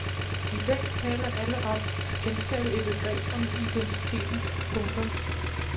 I dag taler alle om at genskabe et begreb om identiteten. punktum